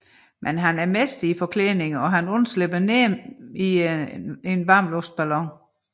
Men han er en mester i forklædninger og undslipper nemt i sin varmluftsballon